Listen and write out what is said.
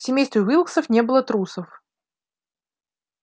в семействе уилксов не было трусов